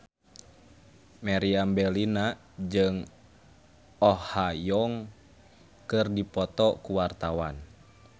Meriam Bellina jeung Oh Ha Young keur dipoto ku wartawan